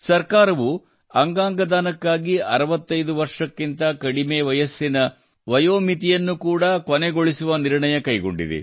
ಸರ್ಕಾರವು ಅಂಗಾಂಗ ದಾನಕ್ಕಾಗಿ 65 ವರ್ಷಕ್ಕಿಂತ ಕಡಿಮೆ ವಯಸ್ಸಿನ ವಯಸ್ಸು ಮಿತಿಯನ್ನು ಕೂಡಾ ಕೊನೆಗೊಳಿಸುವ ನಿರ್ಣಯ ಕೈಗೊಂಡಿದೆ